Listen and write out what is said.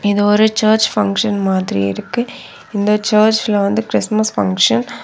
இது ஒரு church function மாதிரி இருக்கு இந்த சர்ச்ல வந்து கிறிஸ்துமஸ் ஃபங்ஷன் .